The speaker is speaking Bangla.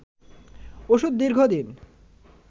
ওষুধ দীর্ঘদিন